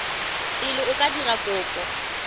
pele o ka dira kopo